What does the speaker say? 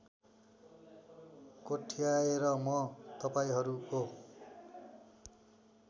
कोट्याएर म तपाईँहरूको